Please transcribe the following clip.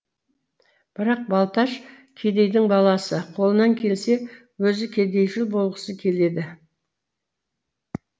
бірақ балташ кедейдің баласы қолынан келсе өзі кедейшіл болғысы келеді